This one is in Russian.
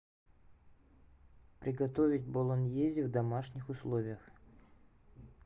приготовить болоньезе в домашних условиях